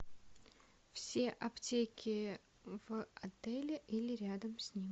все аптеки в отеле или рядом с ним